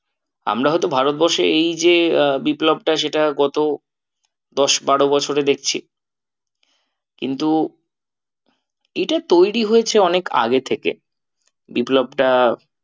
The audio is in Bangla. আমরা হয়তো ভারতবর্ষে এই যে আহ বিপ্লবটা সেটা গত দশ বারো বছরে দেখছি। কিন্তু এটা তৈরী হয়েছে অনেক আগে থেকে বিপ্লবটা